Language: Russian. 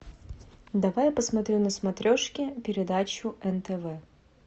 давай я посмотрю на смотрешке передачу нтв